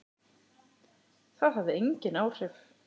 Það hafði engin áhrif.